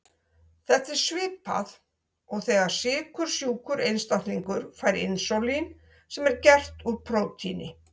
Þetta er svipað og þegar sykursjúkur einstaklingur fær insúlín sem er gert úr prótíni.